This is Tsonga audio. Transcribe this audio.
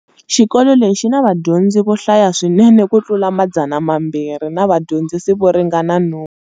Xikolo lexi xina vadyondzi vo hlaya swinene ku tlula Madzana mambiri na vadyondzisi vo ringana nhungu.